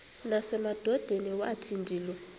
nasemadodeni wathi ndilu